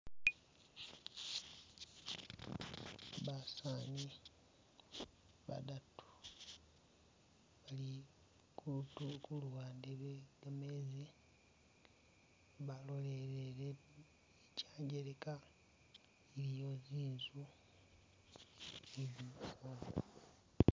Basaani badatu bali kutu ku luwande lwe gameezi balolelele kyangeleka iwo inzu.